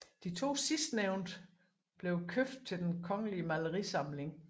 De 2 sidstnævnte blev købt til Den Kongelige Malerisamling